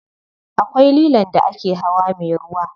Akwai lilon da ake hawa me ruwa.